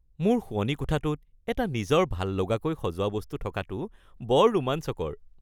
মোৰ শোৱনি কোঠাটোত এটা নিজৰ ভাললগাকৈ সজোৱা বস্তু থকাটো বৰ ৰোমাঞ্চকৰ।